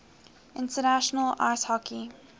national ice hockey